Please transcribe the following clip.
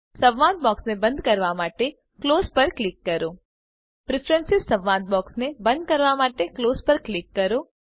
સંવાદ બોક્સને બંધ કરવા માટે ક્લોઝ પર ક્લિક કરો પ્રીફ્રેન્સીઝ સંવાદ બોક્સને બંધ કરવા માટે ક્લોઝ પર ક્લિક કરો